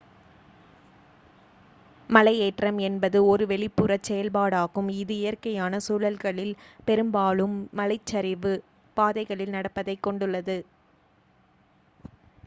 மலையேற்றம் என்பது ஒரு வெளிப்புறச் செயல்பாடாகும் இது இயற்கையான சூழல்களில் பெரும்பாலும் மலைச் சரிவுப் பாதைகளில் நடப்பதைக் கொண்டுள்ளது